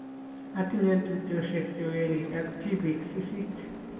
atinye tupchosiek che werik ak tibik sisit